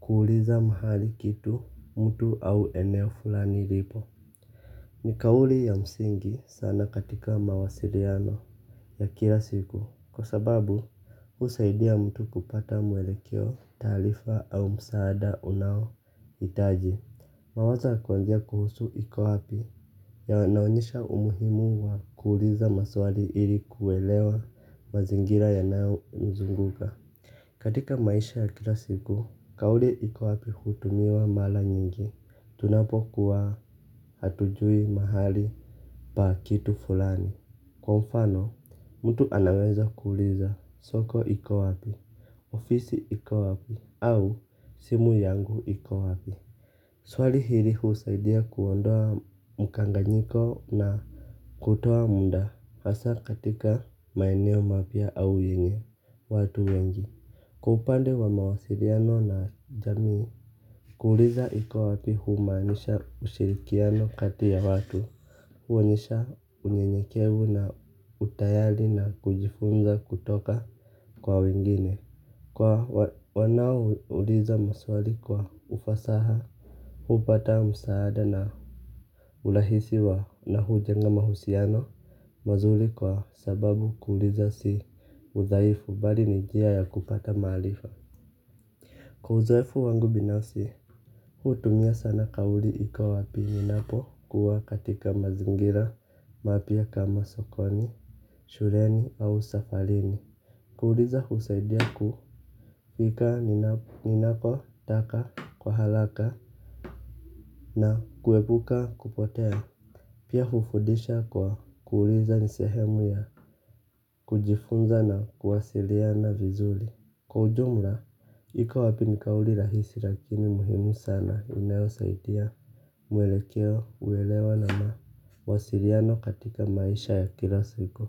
kuuliza mahali kitu mtu au eneo fulani ripo. Ni kauli ya msingi sana katika mawasiriano ya kila siku. Kwa sababu usaidia mtu kupata mwelekeo taalifa au msaada unaoitaji. Mawaza kuwanjia kuhusu ikowapi. Ya wanaonyesha umuhimu wa kuuliza maswali ili kuelewa mazingira yanao nzunguka. Katika maisha ya kila siku, kauli ikowapi hutumiwa mala nyingi. Tunapo kuwa hatujui mahali pa kitu fulani. Kwa mfano, mtu anaweza kuuliza soko ikowapi, ofisi ikowapi, au simu yangu ikowapi. Swali hili husaidia kuondoa mkanganyiko na kutoa muda hasa katika maeneo mapya au yenye watu wengi. Kwa upande wa mawasiliano na jamii, kuuliza ikowapi humanisha ushirikiano kati ya watu, huonyesha unyenyekevu na utayali na kujifunza kutoka kwa wengine. Kwa wanao uliza maswali kwa ufasaha hupata msaada. Na ulahisi wa na hujenga mausiano mazuri kwa sababu kuuliza si udhsifu bali ni njia ya kupata maarifa kwa uzoefu wangu binafsi hutumia sana kauli ikawa ya pili inapokuwa katika mizingira mapya kama sokoni shuleni au safarini. Kuuliza husaidia kuika ninako taka kwa halaka na kuwebuka kupotea. Pia hufudisha kwa kuuliza ni sehemu ya kujifunza na kuwasiliana vizuli. Kwa ujumla ikowapi ni kauli rahisi lakini muhimu sana inayosaidia mwelekeo uelewa na mawasiliano katika maisha ya kila siku.